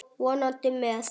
Vonandi með.